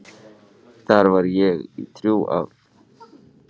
Þar var ég í þrjú ár.